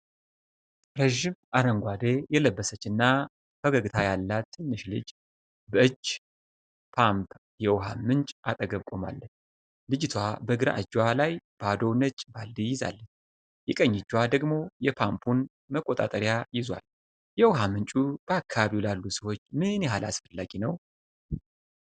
ረዥም አረንጓዴ የለበሰችና ፈገግታ ያላት ትንሽ ልጅ በእጅ ፓምፕ የውሃ ምንጭ አጠገብ ቆማለች። ልጅቷ በግራ እጇ ላይ ባዶ ነጭ ባልዲ ይዛለች፣ የቀኝ እጇ ደግሞ የፓምፑን መቆጣጠሪያ ይዟል። የውሃ ምንጩ በአካባቢው ላሉ ሰዎች ምን ያህል አስፈላጊ ነው?